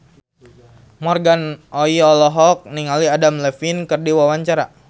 Morgan Oey olohok ningali Adam Levine keur diwawancara